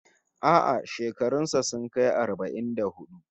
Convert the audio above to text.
A'a, shekarun sa sun kai arba'in da hudu